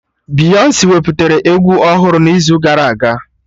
Beyonsi wepụtara egwu ọhụrụ n'izu gara aga